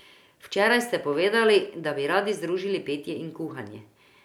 Včeraj ste povedali, da bi radi združili petje in kuhanje.